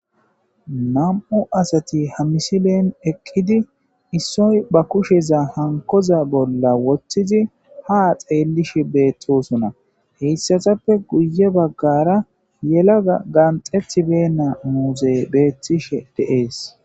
Na'mu sati eqizi issoy ba kusheza hanikoysa bolla wothidi ha xelishe betosona haysatape guye bagara yalaga qaxetibeyina muzeyi betes